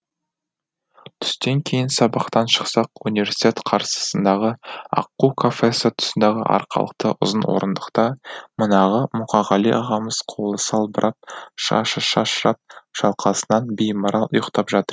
түстен кейін сабақтан шықсақ университет қарсысындағы аққу кафесі тұсындағы арқалықты ұзын орындықта манағы мұқағали ағамыз қолы салбырап шашы шашырап шалқасынан беймарал ұйықтап жатыр